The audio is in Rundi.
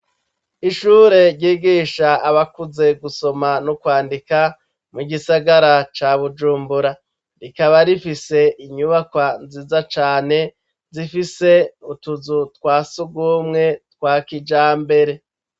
Ishure ryigisha abakuze gusoma no kwandika mu gisagara ca Bujumbura, rikaba rifise inyubakwa nziza cane zifise utuzu twa sugumwe twa kijambere.